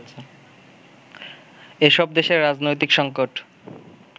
এসব দেশের রাজনৈতিক সঙ্কট